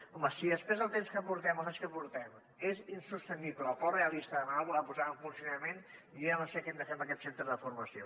home si després del temps que portem dels anys que portem és insostenible o poc realista demanar ne la posada en funcionament jo ja no sé què hem de fer amb aquest centre de formació